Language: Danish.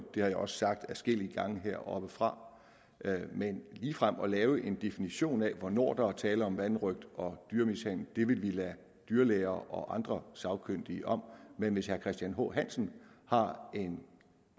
det har jeg også sagt adskillige gange heroppefra men ligefrem at lave en definition af hvornår der er tale om vanrøgt og dyremishandling vil vi lade dyrlæger og andre sagkyndige om men hvis herre christian h hansen har en